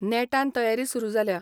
नेटान तयारी सुरू जाल्या.